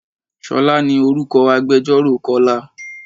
Ṣolá ní orúkọ agbẹjoro Kọ́lá.